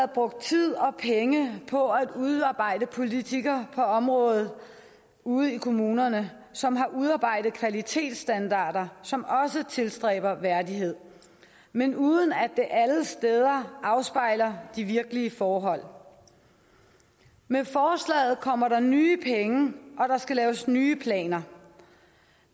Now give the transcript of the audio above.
brugt tid og penge på at udarbejde politikker på området ude i kommunerne som har udarbejdet kvalitetsstandarder som også tilstræber værdighed men uden at det alle steder afspejler de virkelige forhold med forslaget kommer der nye penge og der skal laves nye planer